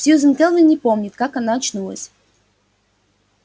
сьюзен кэлвин не помнит как она очнулась